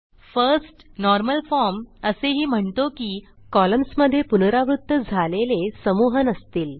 first normal form असेही म्हणतो की कॉलम्समधे पुनरावृत्त झालेले समूह नसतील